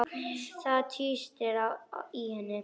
Það tístir í henni.